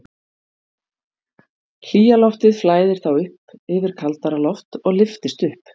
Hlýja loftið flæðir þá yfir kaldara loft og lyftist upp.